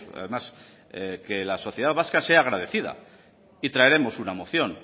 además que la sociedad vasca sea agradecida y traeremos una moción